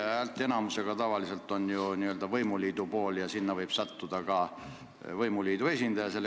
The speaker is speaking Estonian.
Häälteenamus tavaliselt tagab ju võimuliidu tahte ja esimeheks võib sattuda võimuliidu esindaja.